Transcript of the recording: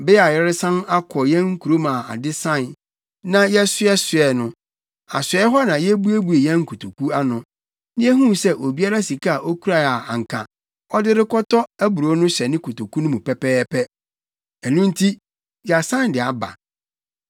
Bere a yɛresan akɔ yɛn kurom a ade sae, na yɛsoɛsoɛɛ no, asoɛe hɔ na yebuebuee yɛn nkotoku ano, na yehuu sɛ obiara sika a okurae a anka ɔde rekɔtɔ aburow no hyɛ ne kotoku no mu pɛpɛɛpɛ. Ɛno nti, yɛasan de aba.